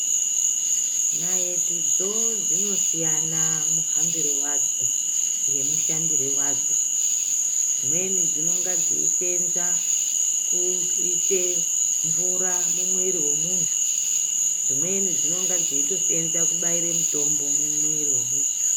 Naitidzo dzinosiyana muhambire wadzo ngemushandire wadzo dzimweni dzinonga dzeisenza kuisa mvura mumwiri wemunthu dzimweni dzinonga dzeitosenza kubaira mitombo mumwiri wemunthu.